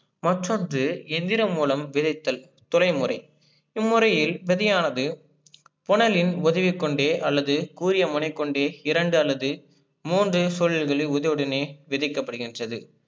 மற்றொண்டு இயந்திரம் மூலம் விளைத்தல் தொழில்முறை. இம்முறையில் விதையானது புனலின் உதவி கொண்டே அல்லது கூரிய முறைகொண்டு இரண்டு அல்லது மூன்று சொல் விளைவு வந்தவுடனே விதைக்கபடுகின்றது.